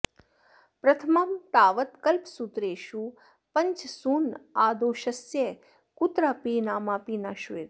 प्रथमं तावत् कल्पसूत्रेषु पञ्चसूनादोषस्य कुत्रापि नामापि न श्रूयते